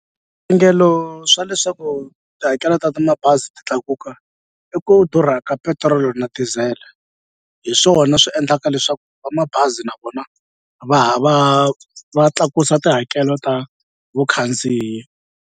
swa leswaku tihakelo ta ta mabazi ti tlakuka i ku durha ka petirolo na diesel-e hi swona swi endlaka leswaku va mabazi na vona va ha va tlakusa tihakelo ta vukhandziyi.